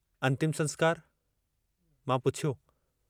अन्तिम संस्कार...." मां पुछियो।